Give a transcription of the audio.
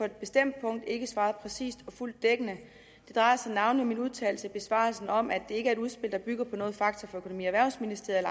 et bestemt punkt ikke svarede præcist og fuldt dækkende det drejer sig navnlig om min udtalelse i besvarelsen om at er ikke et udspil der bygger på noget fakta fra økonomi og erhvervsministeriet